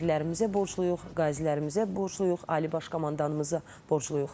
Şəhidlərimizə borcluyuq, qazilərimizə borcluyuq, Ali Baş Komandanımıza borcluyuq.